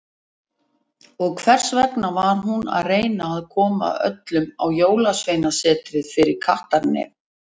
Og hvers vegna var hún að reyna að koma öllum á Jólasveinasetrinu fyrir kattarnef.